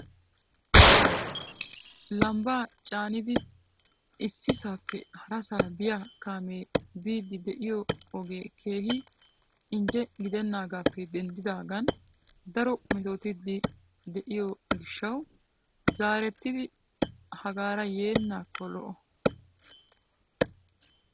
Lambba caanidi issisappe harassa biyaa kaamee I biidi diyo ogee keehi injje gidenaagappe denddidaagan daro metotiide de'iyo gishshawu zaarettidi hagaara yeenakko lo''o.